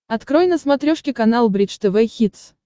открой на смотрешке канал бридж тв хитс